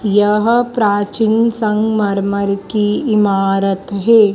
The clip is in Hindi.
यह प्राचीन संगमरमर की इमारत है।